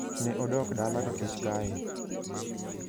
Ne odok dala ka kech kaye. "